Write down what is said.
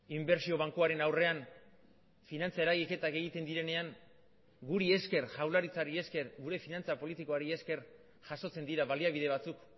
inbertsio bankuaren aurrean finantza eragiketak egiten direnean guri esker jaurlaritzari esker gure finantza politikoari esker jasotzen dira baliabide batzuk